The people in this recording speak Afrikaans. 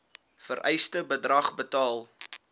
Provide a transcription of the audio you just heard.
vereiste bedrag betaal